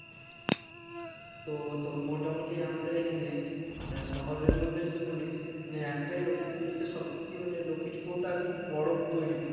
তো তোর মোটামোটি আমাদের এখানে মানে শহরের মধ্যে যদি বলিস মানে একটাই লক্ষ্মী পূজো তে সব থেকে মানে লক্ষ্মী ঠাকুর টা আর কি বড় তৈরী করে